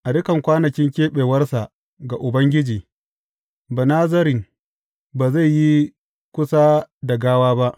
A dukan kwanakin keɓewarsa ga Ubangiji, Banazarin ba zai yi kusa da gawa ba.